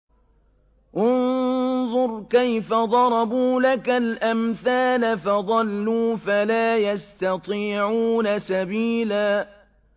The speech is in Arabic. انظُرْ كَيْفَ ضَرَبُوا لَكَ الْأَمْثَالَ فَضَلُّوا فَلَا يَسْتَطِيعُونَ سَبِيلًا